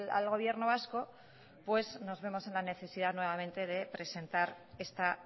al gobierno vasco pues nos vemos en la necesidad nuevamente de presentar esta